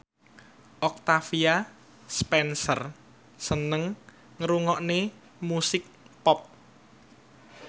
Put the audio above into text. Octavia Spencer seneng ngrungokne musik pop